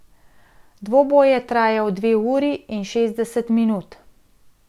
Dvoboj je trajal dve uri in šest minut.